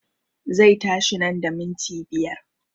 Zai tashi nan da minti biyar